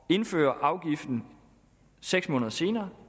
indføre afgiften seks måneder senere